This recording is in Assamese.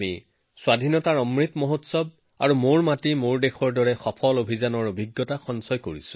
আমি আজাদী কা অমৃতা মহোৎসৱ আৰু মেৰী মাটি মেৰা দেশৰ দৰে সফল অভিযানৰ অভিজ্ঞতা লাভ কৰিছো